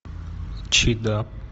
чи да